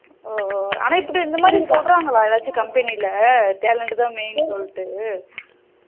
ஹம் ஆனா இப்படி இந்த மாதிரி சொல்லுறங்களா ஏதாச்சும் company ல talent தான் main சொல்லிட்டு